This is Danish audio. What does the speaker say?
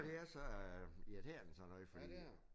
Det er så irriterende sådan noget fordi